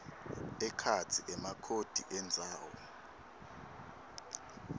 ekhatsi emakhodi endzawo